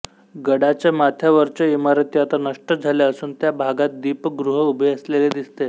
गडाच्या माथ्यावरच्या इमारती आता नष्ट झाल्या असून त्या भागात दीपगृह उभे असलेले दिसते